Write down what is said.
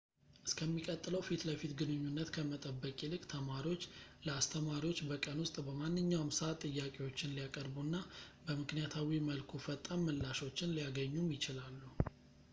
እስከሚቀጥለው ፊትለፊት ግንኙነት ከመጠበቅ ይልቅ ተማሪዎች ለአስተማሪዎች በቀን ውስጥ በማንኛውም ሰዓት ጥያቄዎችን ሊያቀርቡ እና በምክንያታዊ መልኩ ፈጣን ምላሾችን ሊያገኙም ይችላሉ